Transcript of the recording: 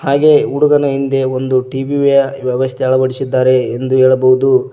ಹಾಗೆ ಹುಡುಗನ ಹಿಂದೆ ಒಂದು ಟಿ_ವಿ ಯ ವ್ಯವಸ್ಥೆ ಅಳವಡಿಸಿದ್ದಾರೆ ಎಂದು ಹೇಳಬಹುದು.